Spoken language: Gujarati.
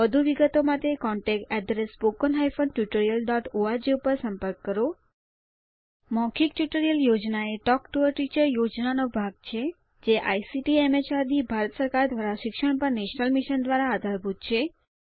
વધુ વિગતો માટે contactspoken tutorialorg ઉપર સંપર્ક કરો મૌખિક ટ્યુટોરીયલ યોજના એ ટોક ટુ અ ટીચર યોજનાનો ભાગ છે જે આઇસીટીએમએચઆરડીભારત સરકાર દ્વારા શિક્ષણ પર નેશનલ મિશન દ્વારા આધારભૂત છે